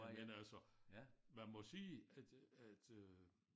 Jamen altså man må sige at at øh